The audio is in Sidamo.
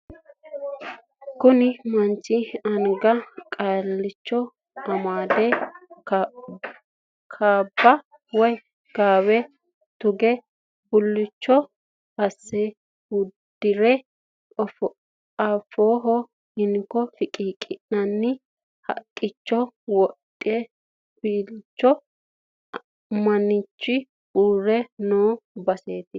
Kuni manchi anga qalacco amade kaabba woy gaawe tuge bulcu asse uddire afooho hinko fiqiiqqi'nanni fiqiiqicho wodhegelbisu manchi uurre noo baseeti.